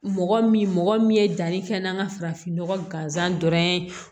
Mɔgɔ min mɔgɔ min ye danni kɛ n'an ka farafin nɔgɔ gansan dɔrɔn ye